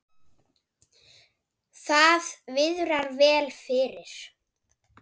Það viðrar vel fyrir